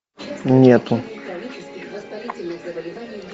нету